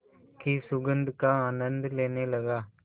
की सुगंध का आनंद लेने लगा